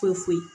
Foyi foyi foyi